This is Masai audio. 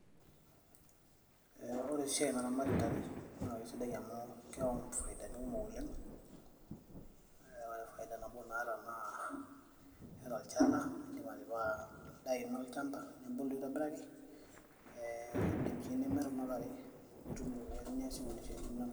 ore esiai naramati intare naa kisidai amuu keyau ifaidani kumok oleng ee ore faida nabo naata naa keeta olchala lindim atipika endaa ino olchamba nebulu aitobiraki ee indim sii nimirr kuna tare nitum iropiani niasie kulie siaitin inonok.